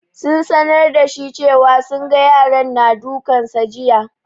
Sun sanar da shi cewa sun ga yaran na dukan sa jiya.